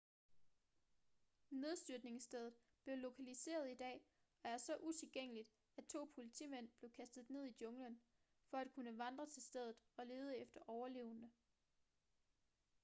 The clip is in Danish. nedstyrtningsstedet blev lokaliseret i dag og er så utilgængeligt at to politimænd blev kastet ned i junglen for at kunne vandre til stedet og lede efter overlevende